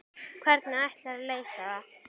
Hvernig ætlarðu að leysa það?